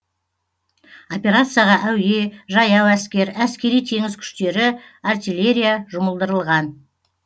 операцияға әуе жаяу әскер әскери теңіз күштері артиллерия жұмылдырылған